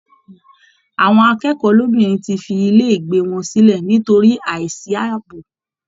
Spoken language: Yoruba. Àwọn akẹ́kọ̀ọ́ lóbìnrin ti fi ilé ìgbé wọn sílẹ̀ nítorí àìsí ààbò